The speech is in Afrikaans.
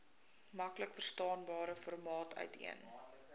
maklikverstaanbare formaat uiteen